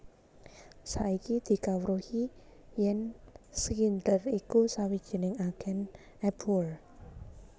Saiki dikawruhi yèn Schindler iku sawijining agèn Abwehr